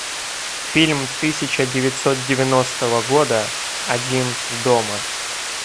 фильм тысяча девятьсот девяностого года один дома